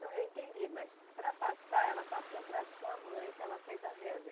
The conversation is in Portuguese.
Não, eu entendi, mas para passar, ela passou para a sua mãe, que ela fez a reza.